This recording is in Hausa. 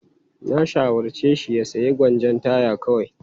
Na shawarce shi ya sayi gwanjon taya kawai.